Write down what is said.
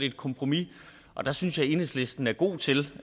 et kompromis og der synes jeg at enhedslisten er god til